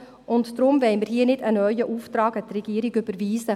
Deswegen wollen wir hier nicht einen neuen Auftrag an die Regierung überwiesen.